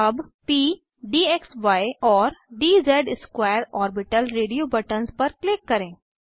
अब प डीएक्सी और DZ square orbital radio buttons पर क्लिक करें